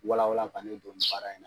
Walawal ka ne don nin baara in na.